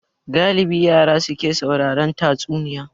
Galibi yara su ke sauraron tatsuniya